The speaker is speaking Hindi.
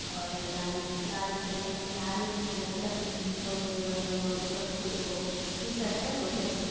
और लाल लाल द्रे-आई मीन लाल लेंघा पहने है औरररररर ऊपर कूऊओ टीशर्ट है बहुत ही अच्छा ]